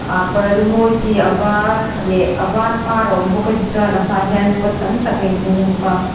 parda mawi chi a var leh a var par a awm bawk a tichuan a hma ah hian pot tam tak a in hung bawk a.